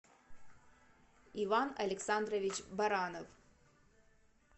иван александрович баранов